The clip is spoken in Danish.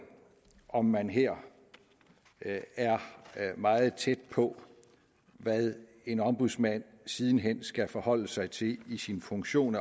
om man her er meget tæt på hvad en ombudsmand siden hen skal forholde sig til i sin funktion